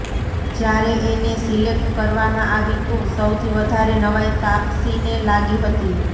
જ્યારે એને સિલેક્ટ કરવામાં આવી તો સૌથી વધારે નવાઈ તાપસીને લાગી હતી